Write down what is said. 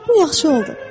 Bu yaxşı oldu.